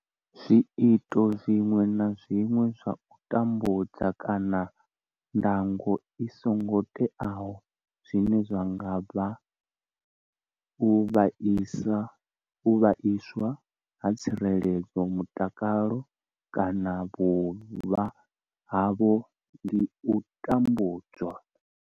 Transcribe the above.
Zwiito zwiṅwe na zwiṅwe zwa u tambudza kana ndango i songo teaho zwine zwa nga vhanga u vhaiswa ha tsireledzo, mutakalo kana vhuvha havho ndi u tambudzwa.